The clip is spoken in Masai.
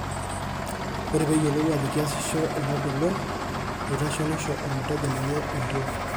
Ore peyiolou ajo kiasisho inagolon, eitasho nesho ormuteja lenye entiol.